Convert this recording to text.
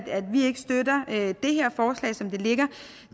vi ikke støtter det her forslag som det ligger